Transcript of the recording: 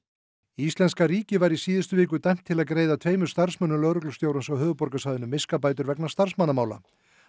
íslenska ríkið var í síðustu viku dæmt til að greiða tveimur starfsmönnum lögreglustjórans á höfuðborgarsvæðinu miskabætur vegna starfsmannamála